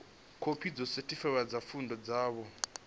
khophi dzo sethifaiwaho dza pfunzo dzavho